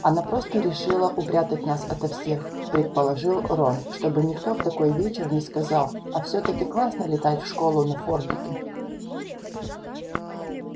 она просто решила упрятать нас ото всех предположил рон чтобы никто в такой вечер не сказал а всё-таки классно летать в школу на фордике